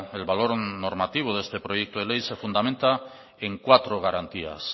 el valor normativo de este proyecto de ley se fundamenta en cuatro garantías